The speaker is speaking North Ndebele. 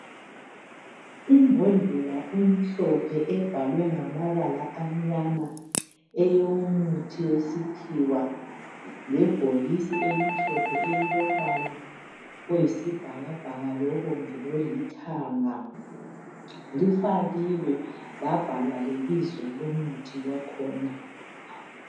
Imbhodlela emhlophe ebhalwe ngamabala amnyama eyomuthi wesikhiwa lebhokisi elimhlophe elilombala oyisibhakabhaka, lobomvu lolithanga. Lifakiwe labhalwa lebizo lomuthi wakhona